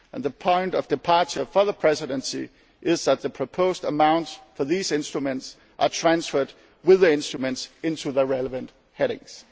in the Commission's proposal. The point of departure for the Presidency is that the proposed amounts for these instruments are transferred, with the instruments,